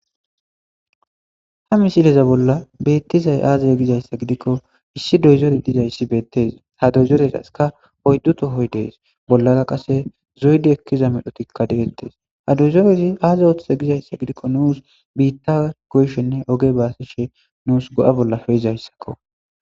Ha misileza bolla beettizay aazaz gizayssa gidikko issi doyzori dizayssi beettes ha doyzoreraska oydduto hoy dees bollaga qase zoydi ekkiza medhotikka deentes ha dozorezi aaza oothe gizayssa gidikko nuus biitta goyshenne oge baasishe nuus go'a bolla fe izayssakko.